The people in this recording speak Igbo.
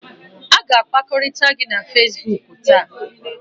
A ga-akpakọrịta gị na Facebook taa